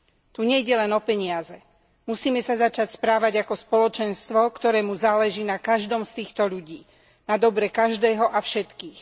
Tu nejde len o peniaze, musíme sa začať správať ako spoločenstvo, ktorému záleží na každom z týchto ľudí, na dobre každého a všetkých.